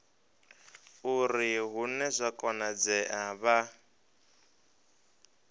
uri hune zwa konadzea vha